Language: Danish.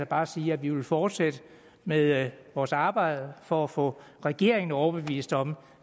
bare sige at vi vil fortsætte med vores arbejde for at få regeringen overbevist om